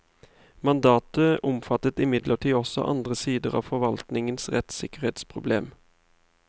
Mandatet omfattet imidlertid også andre sider av forvaltningens rettssikkerhetsproblem.